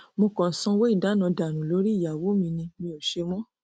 mo kàn sanwó ìdáná dànù lórí ìyàwó mi ni mi ò ò ṣe mọ o